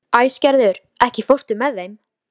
Heiða lá á fína dívaninum og argaði og gargaði.